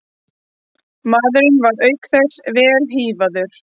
Maðurinn var auk þess vel hífaður